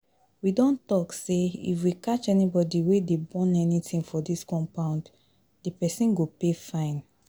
We don talk say if we catch anybody wey dey burn anything for dis compound, the person go pay fine